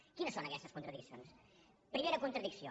quines són aquestes contradiccions primera contradicció